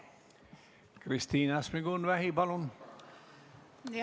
Kristina Šmigun-Vähi, palun!